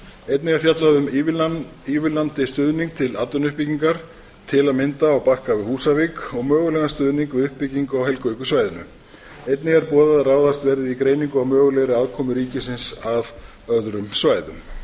einnig er fjallað um ívilnandi stuðning til atvinnuuppbyggingar til að mynda á bakka við húsavík og mögulegan stuðning við uppbyggingu á helguvíkursvæðinu einnig er boðað að ráðist verði í greiningu á mögulegri aðkomu ríkisins að öðrum svæðum